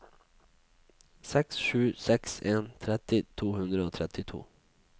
seks sju seks en tretti to hundre og trettito